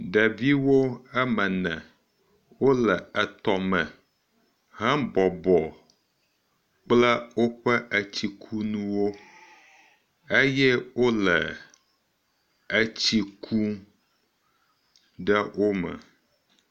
Ɖeviwo eme ene wo le etɔ me hebɔbɔ kple woƒe etsikunuwo eye wo le etsi kum ɖe wo me.